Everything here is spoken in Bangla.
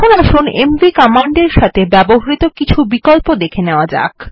এখন আসুন এমভি কমান্ডের সাথে ব্যবহৃত কিছু বিকল্প দেখে নেওয়া যাক